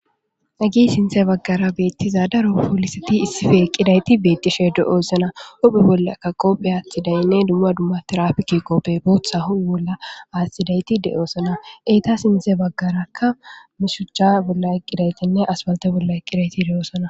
agi sinthe baggara beettiza daro poolisati issife eqqidayti beettishe de7oo sona hope bollakka qoophe aathi daynne dumma dumma tirafiki qoppe bootha ho wolla aattidayti de7oosona eeta sinthe baggarakka mishucha bolla eqqidaytinne aswalte bolla eqqidayti de7oosona